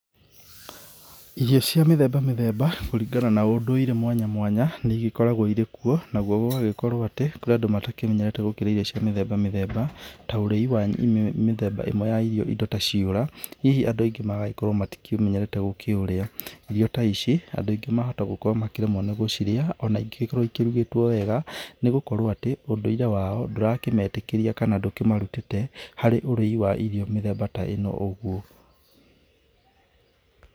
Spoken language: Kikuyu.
Irio cia mĩthemba mĩthemba, kũringana na ũndũire mwanya mwanya ,nĩigĩkoragwo irĩ kuo na gũgagĩkorwo atĩ kũrĩ andũ matakĩmenyerete gũkĩrĩa irio cia mĩthemba mĩthemba. Mĩthemba ĩmwe ya irio nĩ indo ta ciũra, hihi andũ angĩ matikĩmenyerete gũkĩrĩa. Irio ta ici andũ angĩ mahota gũkorwo makĩremwo nĩ gũcirĩa ona ingĩkorwo ikĩrugĩtwo wega, nĩgũkorwo atĩ ũndũire wao ndũrakĩmetĩkĩria kana ndũkĩmarutĩte harĩ ũrĩi wa irio mĩthemba ta ĩno ũguo.